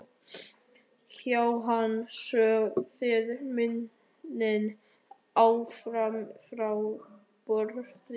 Jóhann: Sáu þið mennina fara frá borði?